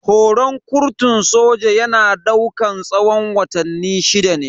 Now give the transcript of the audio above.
Horan kurtun soja yana daukan tsawon watanni shida ne.